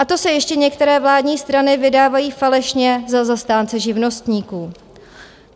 A to se ještě některé vládní strany vydávají falešně za zastánce živnostníků.